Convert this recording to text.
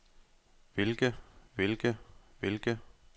hvilke hvilke hvilke